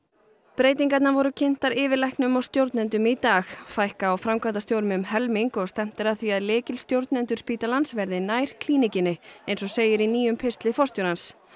breytingarnar voru kynntar yfirlæknum og stjórnendum í dag fækka á framkvæmdastjórum um helming og stefnt að því að lykilstjórnendur spítalans verði nær Klíníkinni eins og segir í nýjum pistli forstjórans